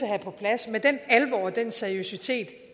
have på plads med den alvor og den seriøsitet